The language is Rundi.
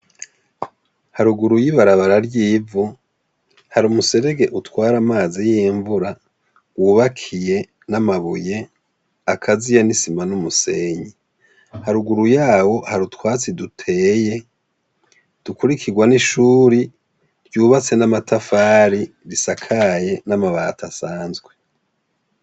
Haruguru y'ibarabara ry'ivu, hari umuserege utwara amazi y'imvura, wubakiye n'amabuye akaziye n'isima n'umusenyi. Haruguru yawo hari utwatsi duteye, dukurikirwa n'ishuri ryubatse n'amatafari risakaye n'amabati asanzwe.